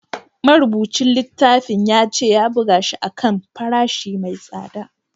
Marubucin littafin ya ce ya buga shi a kan farashi mai tsada